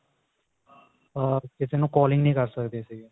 ਹੋਰ ਕਿਸੇ ਨੂੰ calling ਨੀ ਕਰ ਸਕਦੇ ਸੀਗੇ